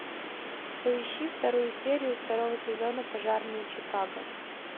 поищи вторую серию второго сезона пожарные чикаго